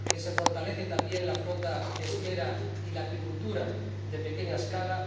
que se fortalece también la flota pesquera y la acuicultura de pequeña escala